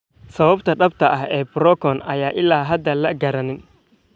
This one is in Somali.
Sababta dhabta ah ee burokan ayaan ilaa hadda la garanayn.